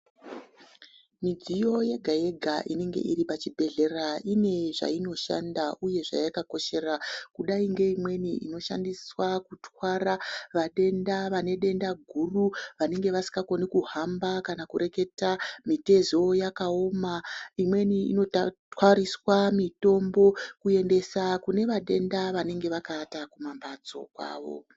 Midziyo yega-yega inenge iri pachibhehlera ine zvainoshanda uye zvayakakoshera. Kudai ngeimweni inoshandiswa kutwara vatenda vanedenda guru vanenge vasikakoni kuhamba kana kureketa, mitezo yakaoma. Imweni inotwariswa mitombo kuendesa kune vatenda vanenge vakavata kumambatso kwavo.